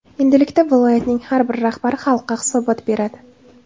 Endilikda viloyatning har bir rahbari xalqqa hisobot beradi.